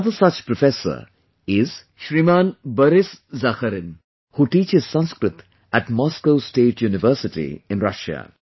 Another such professor is Shriman Boris Zakharin, who teaches Sanskrit at Moscow State University in Russia